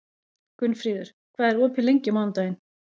Gunnfríður, hvað er opið lengi á mánudaginn?